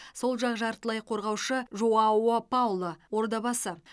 сол жақ жартылай қорғаушы жоао пауло ордабасы